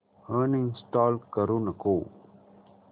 uninstall करू नको